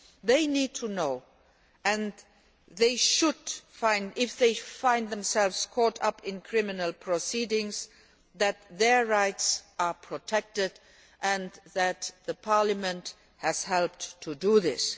They need to know, if they find themselves caught up in criminal proceedings, that their rights are protected and that Parliament has helped to do this.